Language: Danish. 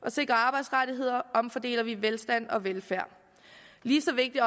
at sikre arbejdsrettigheder omfordeler vi velstand og velfærd lige så vigtigt